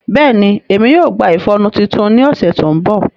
Bẹẹni, Emi yoo gba ifọnu titun ni ọsẹ to nbọ.